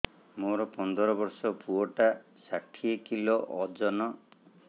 ମୋର ପନ୍ଦର ଵର୍ଷର ପୁଅ ଟା ଷାଠିଏ କିଲୋ ଅଜନ